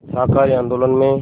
शाकाहारी आंदोलन में